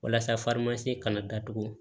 Walasa kana datugu